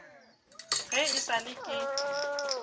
ge e sa le ke